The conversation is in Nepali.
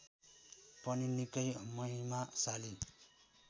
पनि निकै महिमाशाली